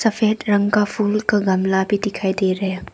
सफेद रंग का फूल का गमला भी दिखाई दे रहे हैं।